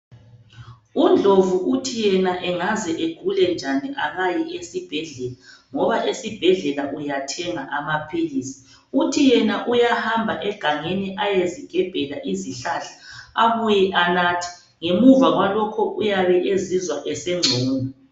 UNdlovu uthi yena engaze agule njani akayi esibhedlela, ngoba esibhedlela uyathenga amaphilisi. Uthi yena uyahamba egangeni ayezigebhela izihlahla abuye anathe. Ngemuva kwalokho uyabe ezizwa esengcono.